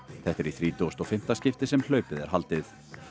þetta er í þrítugasta og fimmta skipti sem hlaupið er haldið